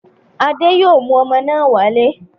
Adé yóò mú ọmọ náà wálé.